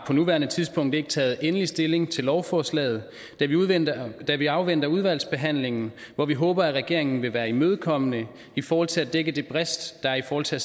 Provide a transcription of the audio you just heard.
på nuværende tidspunkt ikke har taget endelig stilling til lovforslaget da vi afventer udvalgsbehandlingen hvor vi håber at regeringen vil være imødekommende i forhold til at dække den brist der er i forhold til at